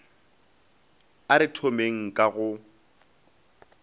a re thomeng ka go